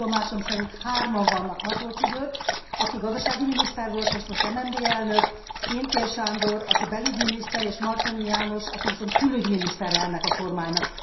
Legjobb tudomásom szerint hárman vannak Matolcsy György, aki gazdasági miniszter volt, és most MNB elnök, Pintér Sándor, aki belügyminiszter és Martonyi János, aki viszont külügyminisztere ennek a kormánynak.